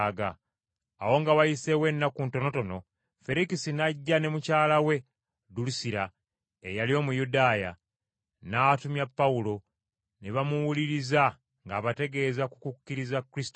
Awo nga wayiseewo ennaku ntonotono, Ferikisi n’ajja ne mukyala we Dulusira, eyali Omuyudaaya. N’atumya Pawulo, ne bamuwuliriza ng’abategeeza ku kukkiriza Kristo Yesu.